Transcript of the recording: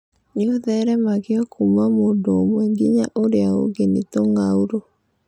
Nĩ ũtheremagio kuuma mũndũ ũmwe nginya ũrĩa ũngĩ nĩ tũng'aurũ.